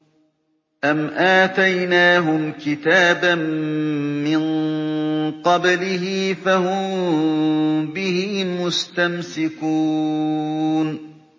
أَمْ آتَيْنَاهُمْ كِتَابًا مِّن قَبْلِهِ فَهُم بِهِ مُسْتَمْسِكُونَ